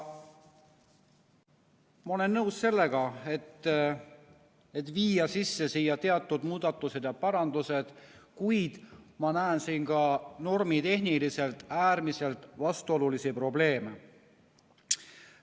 Ma olen nõus sellega, et viia sisse siia teatud muudatused ja parandused, kuid ma näen siin ka normitehniliselt äärmiselt vastuolulisi probleeme.